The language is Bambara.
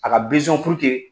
A ka